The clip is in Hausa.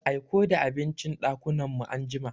Aiko the abincin ɗakunan mu anjima.